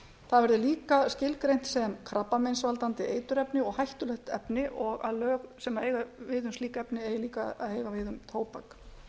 það verði líka skilgreint sem krabbameinsvaldandi eiturefni og hættulegt efni og að lög sem eiga við um slík efni eigi líka að eiga við um tóbak ég